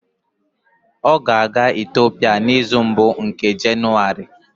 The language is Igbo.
Ọ ga-aga Itiopia n'izu mbụ nke Jenụwarị